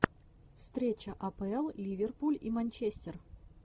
встреча апл ливерпуль и манчестер